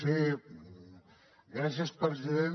sí gràcies president